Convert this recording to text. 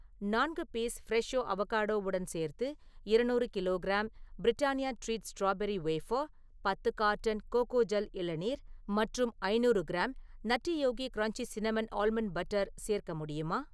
நான்கு piece fresho அவொகேடோவுடன் சேர்த்து, இரநூறு kilo gram Britannia treat strawberry wafer , பத்து கார்ட்டன் கோகோஜெல் இளநீர் மற்றும் ஐநூறு gram Nutty Yogi crunchy cinnamon almond butter சேர்க்க முடியுமா?